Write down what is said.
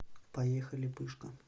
поехали пышка